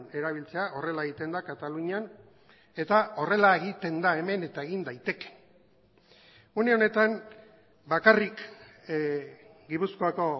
erabiltzea horrela egiten da katalunian eta horrela egiten da hemen eta egin daiteke une honetan bakarrik gipuzkoako